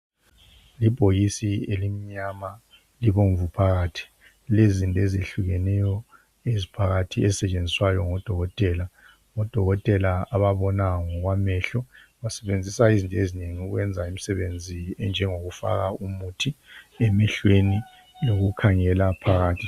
Ibhokisi elimnyama libomvu phakathi lilezinto ezehlukeneyo eziphakathi ezisetshenziswayo ngoDokotela ngoDokotela ababona ngokwamehlo basebenzisa izinto ezinengi ukwenza imsebenzi enjengokufaka umuthi emehlweni lokukhangela phakathi.